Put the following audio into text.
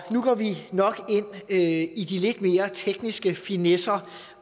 nu går vi nok ind i de lidt mere tekniske finesser